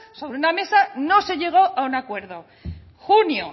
sobre una mesa no se llegó a un acuerdo junio